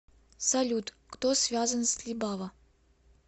салют кто связан с либава